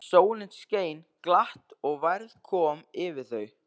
Sólin skein glatt og værð kom yfir þau.